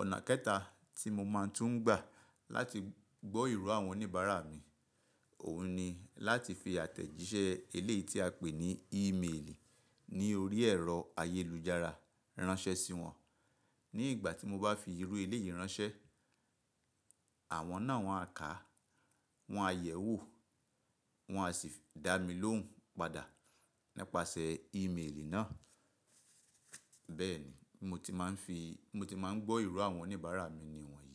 Ọ̀nà kẹta tí mo máa tún ń gbà láti gbọ́ ìró àwọn oníbàárà mi, òun ni láti fi àtẹ̀jíṣẹ́ eléyìí tí a pè ní Ìmeeli ní orí ẹ̀rọ ayélujára ránṣẹ́ sí wọn. Ní ìgbà tí mo bá fi irú eléyìí ránṣẹ́, àwọn náà wọn á kà á, wọn á yẹ̀wò, wọn á sì dá mi lóhùn padà nípasẹ̀ Ìmeeli náà. Bẹ́ẹ̀ ni mo ti máa ń gbọ́ ìró àwọn oníbàárà mi níwọ̀nyí.